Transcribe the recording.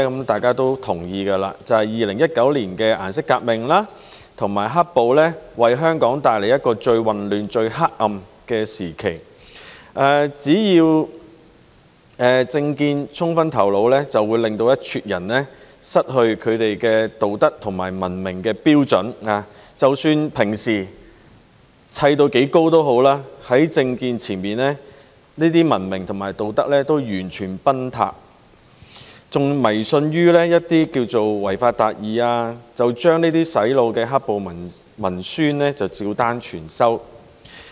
大家也同意 ，2019 年的顏色革命和"黑暴"為香港帶來最混亂、最黑暗的時期，一撮人只要被政見沖昏頭腦，便會失去他們的道德和文明標準，即使平時堆砌得多高也好，在政見前，這些文明和道德標準均完全崩塌，更迷信於違法達義，將這些洗腦的"黑暴"文宣照單全收。